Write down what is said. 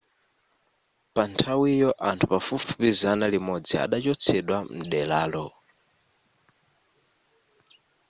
panthawiyo anthu pafupifupi zana limodzi adachotsedwa mderalo